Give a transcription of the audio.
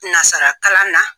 tɛ na sara k'a la